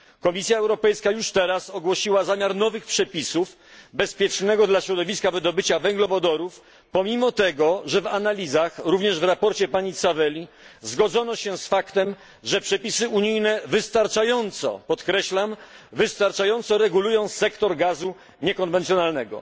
Komisja Europejska już teraz ogłosiła zamiar nowych przepisów na rzecz bezpiecznego dla środowiska wydobycia węglowodorów, pomimo tego że w analizach, również w sprawozdaniu pani Tzaveli, zgodzono się z faktem, że przepisy unijne wystarczająco podkreślam wystarczająco regulują sektor gazu niekonwencjonalnego.